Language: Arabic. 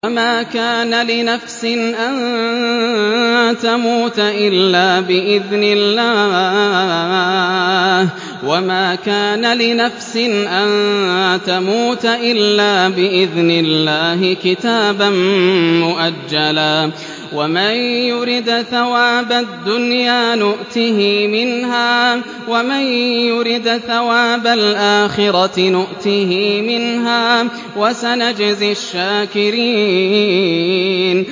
وَمَا كَانَ لِنَفْسٍ أَن تَمُوتَ إِلَّا بِإِذْنِ اللَّهِ كِتَابًا مُّؤَجَّلًا ۗ وَمَن يُرِدْ ثَوَابَ الدُّنْيَا نُؤْتِهِ مِنْهَا وَمَن يُرِدْ ثَوَابَ الْآخِرَةِ نُؤْتِهِ مِنْهَا ۚ وَسَنَجْزِي الشَّاكِرِينَ